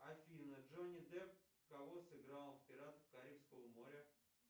афина джонни депп кого сыграл в пиратах карибского моря